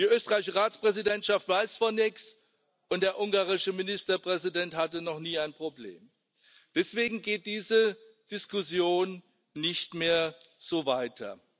Die österreichische Ratspräsidentschaft weiß von nichts, und der ungarische Ministerpräsident hatte noch nie ein Problem. Deswegen geht diese Diskussion nicht mehr so weiter.